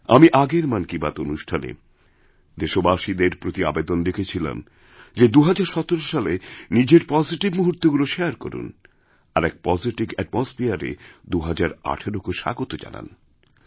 আমি আগের মন কি বাত অনুষ্ঠানেদেশবাসীদের প্রতি আবেদন রেখেছিলাম যে ২০১৭ সালে নিজের পজিটিভ মুহূর্তগুলি শেয়ারকরুন আর এক পজিটিভ অ্যাটমসফিয়ারে ২০১৮কে স্বাগত জানান